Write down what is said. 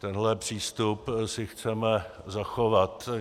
Tenhle přístup si chceme zachovat.